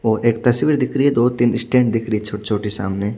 और एक तस्वीर दिख रही है दो तीन स्टैंड दिख रही है छोटे सामने--